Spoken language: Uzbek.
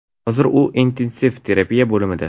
Hozir u intensiv terapiya bo‘limida.